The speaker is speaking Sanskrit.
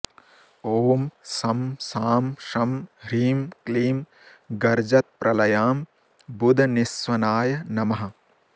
ॐ शं शां षं ह्रीं क्लीं गर्जत्प्रलयाम्बुदनिःस्वनाय नमः